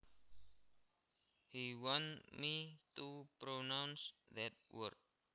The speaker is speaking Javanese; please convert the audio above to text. He wanted me to pronounce that word